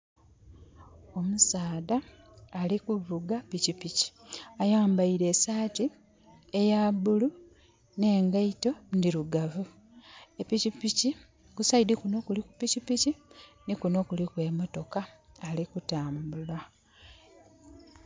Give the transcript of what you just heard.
Omusaadha alikuvuga pikipiki. Ayambaire esaati eya bulu ne ngaito ndirugavu. Epikipiki, ku saidi kuno kuliku pikipiki ni kuno kuliku emotoka. Alikutambula